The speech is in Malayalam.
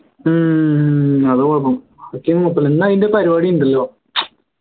ഹും അതാ കുഴപ്പം ഇന്ന് അതിൻറെ പരിപാടി ഉണ്ടല്ലോ